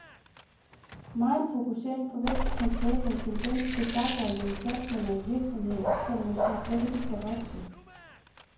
Megen fokusering på vækst kan skabe en tendens til stakåndede satsninger i virksomheder, som måske slet ikke skal vokse.